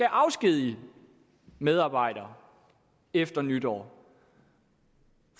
afskedige medarbejdere efter nytår